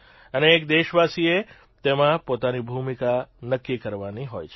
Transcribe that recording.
અને એક દેશવાસીએ તેમાં પોતાની ભૂમિકા નક્કી કરવાની હોય છે